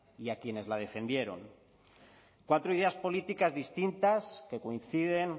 y a quienes la defendieron cuatro ideas políticas distintas que coinciden